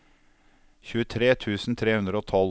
tjuetre tusen tre hundre og tolv